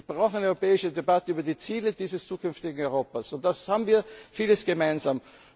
arbeiten, darüber diskutiert. Wir brauchen eine europäische Debatte über die Ziele dieses zukünftigen Europas.